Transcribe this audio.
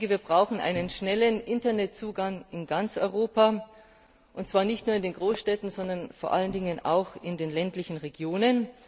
Wir brauchen einen schnellen Internetzugang in ganz Europa, und zwar nicht nur in den Großstädten, sondern vor allem auch in den ländlichen Regionen.